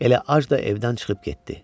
Elə ac da evdən çıxıb getdi.